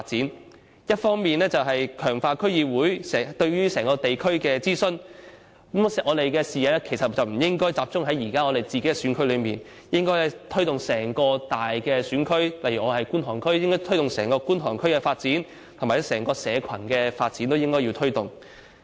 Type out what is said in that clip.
其中一方面是強化區議會對地區的諮詢，但我們的視野不應該只集中在自己現時的選區，而應該推展至整個大選區，例如我是觀塘區的，便應該推動整個觀塘區的發展及整體社群發展。